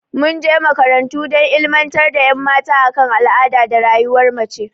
Mun je makarantu dan illimantar da ƴan mata a kan al'ada da rayuwar mace